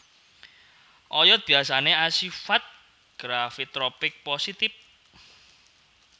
Oyot biyasane asifat gravitropik positif